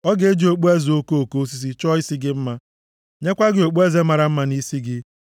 Ọ ga-eji okpueze okoko osisi chọọ isi gị mma nyekwa gị okpueze mara mma nʼisi gị.”